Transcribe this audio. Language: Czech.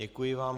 Děkuji vám.